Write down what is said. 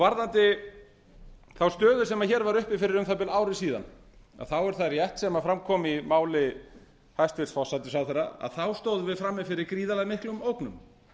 varðandi þá stöðu sem hér var uppi fyrir um það bil ári síðan þá er það rétt sem fram kom í máli hæstvirts forsætisráðherra þá stóðum við frammi fyrir gríðarlega miklum ógnum